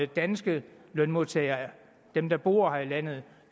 danske lønmodtagere dem der bor her i landet